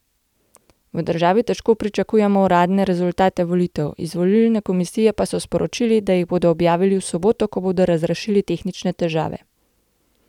V državi težko pričakujejo uradne rezultate volitev, iz volilne komisije pa so sporočili, da jih bodo objavili v soboto, ko bodo razrešili tehnične težave.